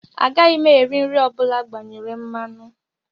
Agaghị m eri nri ọ bụla agbanyere mmanụ